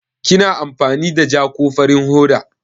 Kina amfani da ja ko farin hoda?